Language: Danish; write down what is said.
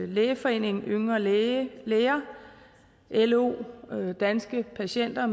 lægeforeningen yngre læger lo danske patienter